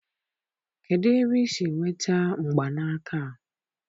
kedụ ebe i si nweta mgbanaka a?